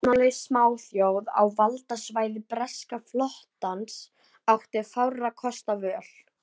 Vopnlaus smáþjóð á valdsvæði breska flotans átti fárra kosta völ.